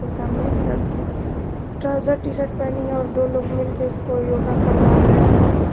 सामने एक लड़की ट्राउजर टी शर्ट पहनी है और दो लोग मिलके उसको योगा करवा रहे हैं।